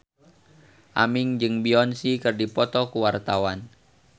Aming jeung Beyonce keur dipoto ku wartawan